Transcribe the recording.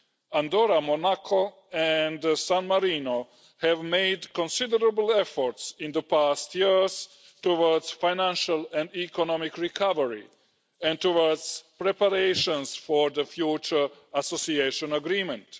Andorra, Monaco and San Marino have made considerable efforts in the past years towards financial and economic recovery and towards preparations for the future Association Agreement.